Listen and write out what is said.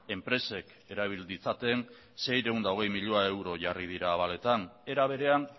enpresek erabil ditzaten seiehun eta hogei milioi euro jarri dira abaletan era berean